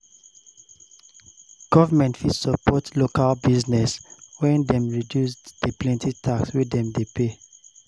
Government fit support local business when dem reduce di plenty tax wey dem de pay